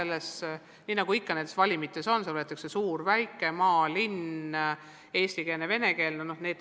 Ja nii nagu valimite puhul ikka, võetakse neisse suuri ja väikeseid, maa- ja linna-, eestikeelseid ja venekeelseid koole.